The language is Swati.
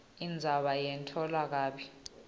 indzaba yetfulwe kabi